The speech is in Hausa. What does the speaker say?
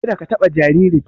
Ka da ka taɓa jaririn!